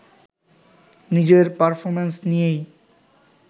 নিজের পারফরম্যান্স নিয়েই